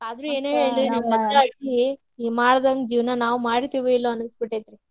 ಆದ್ರು ಅಜ್ಜಿ ಇವ್ರ್ ಮಾಡಿದಂಗ್ ಜೀವನಾ ನಾವ್ ಮಾಡ್ತಿವೊ ಇಲ್ಲೋ ಅನ್ನಿಸ್ಬಿಟ್ಟೆತ್ರಿ.